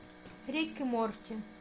рик и морти